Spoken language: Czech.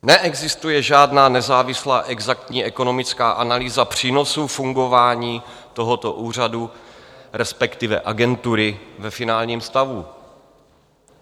Neexistuje žádná nezávislá exaktní ekonomická analýza přínosu fungování tohoto úřadu, respektive agentury, ve finálním stavu.